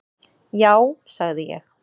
"""Já, sagði ég."""